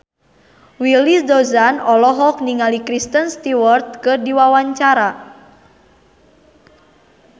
Willy Dozan olohok ningali Kristen Stewart keur diwawancara